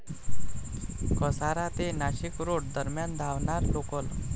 कसारा ते नाशिकरोड दरम्यान धावणार लोकल